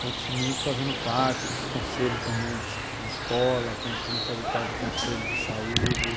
Continuo fazendo parte dos conselhos também de escola, continuo fazendo parte do conselho de saúde.